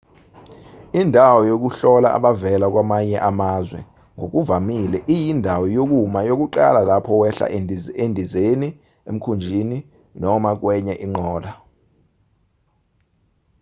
indawo yokuhlola abavela kwamanye amazwe ngokuvamile iyindawo yokuma yokuqala lapho wehla endizeni emkhumbini noma kwenye inqola